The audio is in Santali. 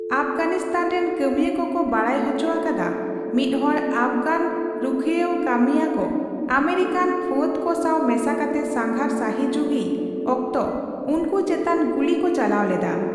ᱟᱯᱜᱟᱱᱤᱥᱛᱷᱟᱱ ᱨᱮᱱ ᱠᱟᱹᱢᱤᱭᱟᱹ ᱠᱚᱠᱚ ᱵᱟᱲᱟᱭ ᱦᱚᱪᱚ ᱟᱠᱟᱫᱟ, ᱢᱤᱫᱦᱚᱲ ᱟᱯᱷᱜᱟᱱ ᱨᱩᱠᱷᱟᱹᱭᱟᱹᱣ ᱠᱟᱹᱢᱤᱭᱟᱹᱠᱚ ᱟᱢᱮᱨᱤᱠᱟᱨᱮᱱ ᱯᱷᱟᱹᱫ ᱠᱚ ᱥᱟᱣ ᱢᱮᱥᱟᱠᱟᱛᱮ ᱥᱟᱸᱜᱷᱟᱨ ᱥᱟᱹᱦᱤᱡᱩᱦᱤᱭ ᱚᱠᱛᱚ ᱩᱱᱠᱩ ᱪᱮᱛᱟᱱ ᱜᱩᱞᱤ ᱠᱚ ᱪᱟᱞᱟᱣ ᱞᱮᱫᱟ ᱾